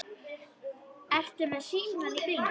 Ertu með síma í bílnum?